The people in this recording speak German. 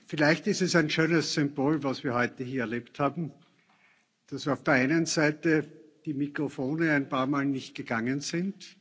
Vielleicht ist es ein schönes Symbol, was wir heute hier erlebt haben, dass auf der einen Seite die Mikrofone ein paar Mal nicht gegangen sind.